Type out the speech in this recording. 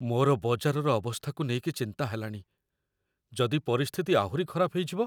ମୋର ବଜାରର ଅବସ୍ଥାକୁ ନେଇକି ଚିନ୍ତା ହେଲାଣି । ଯଦି ପରିସ୍ଥିତି ଆହୁରି ଖରାପ ହେଇଯିବ?